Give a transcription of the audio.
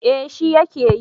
Eh shi ya ke yi